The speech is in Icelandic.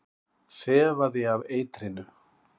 Þefaði af eitrinu.